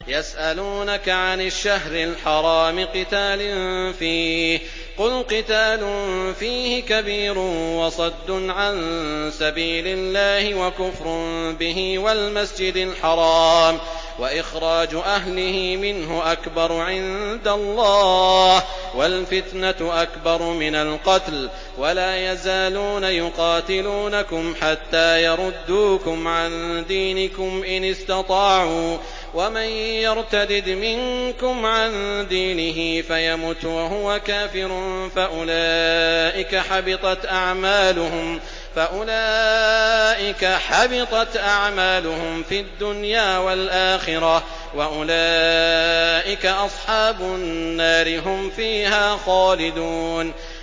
يَسْأَلُونَكَ عَنِ الشَّهْرِ الْحَرَامِ قِتَالٍ فِيهِ ۖ قُلْ قِتَالٌ فِيهِ كَبِيرٌ ۖ وَصَدٌّ عَن سَبِيلِ اللَّهِ وَكُفْرٌ بِهِ وَالْمَسْجِدِ الْحَرَامِ وَإِخْرَاجُ أَهْلِهِ مِنْهُ أَكْبَرُ عِندَ اللَّهِ ۚ وَالْفِتْنَةُ أَكْبَرُ مِنَ الْقَتْلِ ۗ وَلَا يَزَالُونَ يُقَاتِلُونَكُمْ حَتَّىٰ يَرُدُّوكُمْ عَن دِينِكُمْ إِنِ اسْتَطَاعُوا ۚ وَمَن يَرْتَدِدْ مِنكُمْ عَن دِينِهِ فَيَمُتْ وَهُوَ كَافِرٌ فَأُولَٰئِكَ حَبِطَتْ أَعْمَالُهُمْ فِي الدُّنْيَا وَالْآخِرَةِ ۖ وَأُولَٰئِكَ أَصْحَابُ النَّارِ ۖ هُمْ فِيهَا خَالِدُونَ